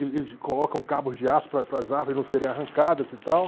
eles colocam cabos de aço para para as árvores não serem arrancadas e tal.